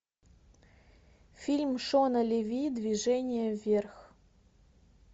фильм шона леви движение вверх